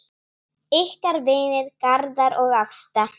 Ykkar vinir, Garðar og Ásta.